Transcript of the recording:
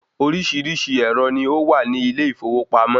Oríṣiríṣi ẹ̀rọ ni ó wà ní ilé ìfowópamọ́